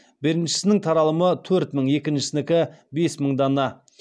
беріншісінің таралымы төрт мың екіншісінікі бес мың дана